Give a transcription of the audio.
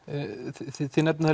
þið nefnið